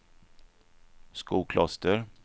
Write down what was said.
Skokloster